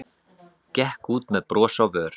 Gekk út með bros á vör.